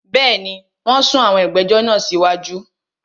Bẹ́ẹ̀ni, wón sún ìgbẹ̀jọ̀ sí wájú